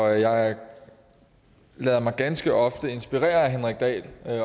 jeg lader mig ganske ofte inspirere af herre henrik dahl